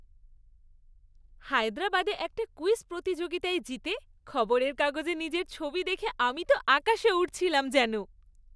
হায়দ্রাবাদে একটা ক্যুইজ প্রতিযোগিতায় জিতে খবরের কাগজে নিজের ছবি দেখে আমি তো আকাশে উড়ছিলাম যেন!